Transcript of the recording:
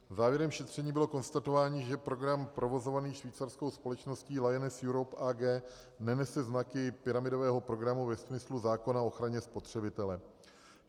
Závěrem šetření bylo konstatování, že program provozovaný švýcarskou společností Lyoness Europe AG nenese znaky pyramidového programu ve smyslu zákona o ochraně spotřebitele.